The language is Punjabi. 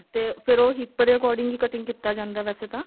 ਤੇ ਫਿਰ ਉਹ hip ਦੇ according ਹੀ cutting ਕੀਤਾ ਜਾਂਦਾ ਹੈ ਵੈਸੇ ਤਾਂ